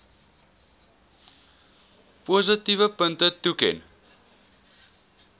positiewe punte toeken